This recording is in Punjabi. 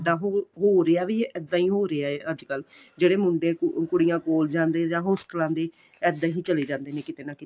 ਹੋ ਰਿਹਾ ਵੀ ਏ ਇੱਦਾਂ ਹੀ ਹੋ ਰਿਹਾ ਅੱਜ ਕੱਲ ਜਿਹੜੇ ਮੁੰਡੇ ਕੁੜੀਆਂ ਕੋਲ੍ਜਾਂ ਦੇ ਜਾਂ ਹੋਸਟਲਾਂ ਦੇ ਇਹਦਾ ਹੀ ਚੱਲੇ ਜਾਂਦੇ ਨੇ ਕਿੱਥੇ ਨਾ ਕਿੱਥੇ